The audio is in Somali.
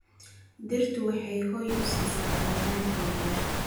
Dhirtu waxay hoy u siisaa xayawaanka yaryar.